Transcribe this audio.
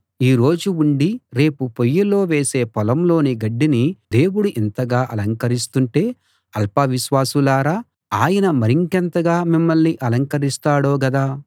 ఈ రోజు ఉండి రేపు పొయ్యిలో వేసే పొలంలోని గడ్డిని దేవుడు ఇంతగా అలంకరిస్తుంటే అల్ప విశ్వాసులారా ఆయన మరింకెంతగా మిమ్మల్ని అలంకరిస్తాడో గదా